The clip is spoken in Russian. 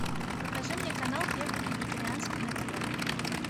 покажи мне канал первый вегетарианский на тв